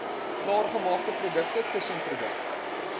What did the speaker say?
klaargemaakte produkte tussenprodukte